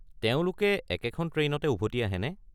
তেওঁলোকে একেখন ট্ৰেইনতে উভতি আহেনে?